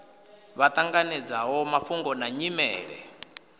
vha ṱanganedzaho mafhungo na nyimele